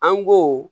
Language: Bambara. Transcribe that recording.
An go